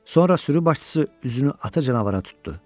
Sonra sürü başçısı üzünü ata canavara tutdu.